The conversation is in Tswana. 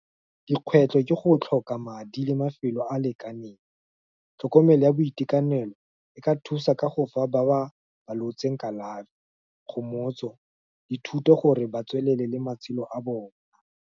Dikgwetlho ke go tlhoka madi le mafelo a lekaneng, tlhokomelo ya boitekanelo, e ka thusa ka go fa ba ba falotseng kalafi, kgomotso, le thuto, gore ba tswelele le matshelo a bona.